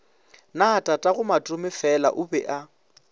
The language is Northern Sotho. na tatagomatomefela o be a